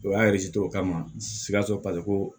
O y'a o kama sikaso paseke ko